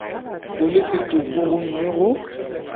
o le setopo gomme go